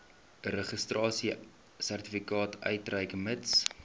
registrasiesertifikaat uitreik mits